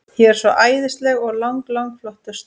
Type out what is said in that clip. Ég er svo æðisleg og lang, lang flottust.